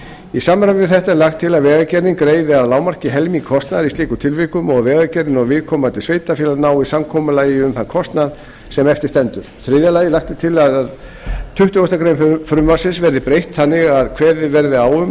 í samræmi við þetta er lagt til að vegagerðin greiði að lágmarki helming kostnaðar í slíkum tilvikum og að vegagerðin og viðkomandi sveitarfélag nái samkomulagi um þann kostnað sem eftir stendur þriðja lagt er til að tuttugustu greinar frumvarpsins verði breytt þannig að kveðið verði á um